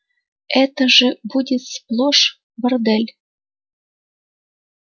это же будет сплошн бордель